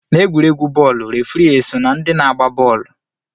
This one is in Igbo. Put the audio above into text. N'egwuregwu bọọlụ, refri eso na ndị na-agba bọọlụ?